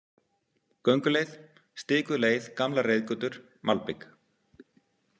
Gönguleið: Stikuð leið, gamlar reiðgötur, malbik.